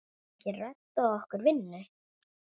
Geturðu reddað okkur vinnu?